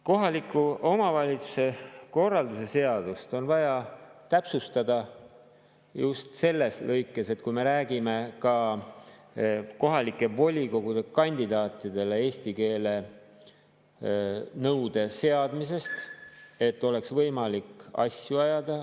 Kohaliku omavalitsuse korralduse seadust on vaja täpsustada just selles lõikes, kus me räägime kohalike volikogude kandidaatidele eesti keele nõude seadmisest, et oleks võimalik asju ajada.